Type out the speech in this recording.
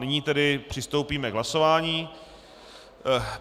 Nyní tedy přistoupíme k hlasování.